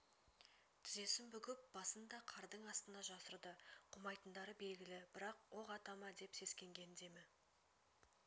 тізесін бүгіп басын да қардың астына жасырды қумайтындары белгілі бірақ оқ ата ма деп сескенген демі